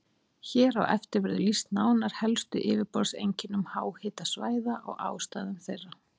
Hér á eftir verður lýst nánar helstu yfirborðseinkennum háhitasvæða og ástæðum þeirra.